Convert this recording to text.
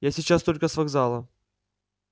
я сейчас только с вокзала